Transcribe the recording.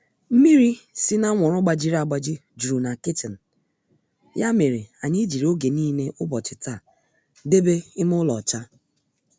Mmịrị sị na anwụrụ gbajịrị agbajị juru na kichin ya mere anyị jiri oge nile ubochi taa debe ime ụlọ ọcha